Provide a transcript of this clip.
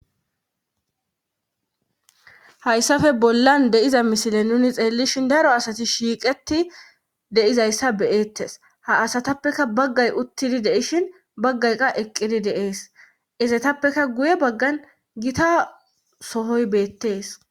Hayssafe bollan deiza misile nuni xeellishin daro asati shiiqeti deizayssa beyeettes ha asatappeka baggay uttidi deishin baggayqa eqqidi deees izetappeka guye baggan gita sohoy beettees.